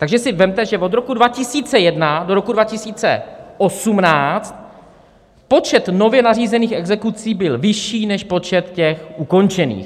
Takže si vezměte, že od roku 2001 do roku 2018 počet nově nařízených exekucí byl vyšší než počet těch ukončených.